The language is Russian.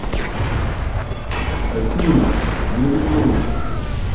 афина на беззвучку